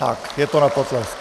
Tak, je to na potlesk.